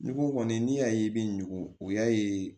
N'i ko kɔni n'i y'a ye i bɛ ɲugu o y'a ye